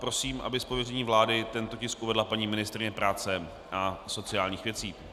Prosím, aby z pověření vlády tento tisk uvedla paní ministryně práce a sociálních věcí.